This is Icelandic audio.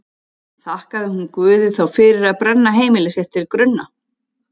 Þakkaði hún Guði þá fyrir að brenna heimili sitt til grunna?